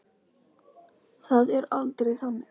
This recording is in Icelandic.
Það er aldrei þannig.